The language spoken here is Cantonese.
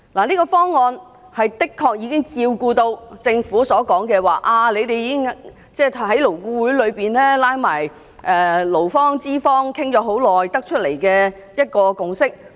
這個方案已經照顧到政府所說，他們在勞顧會裏跟勞方和資方討論很久才得出的一個共識。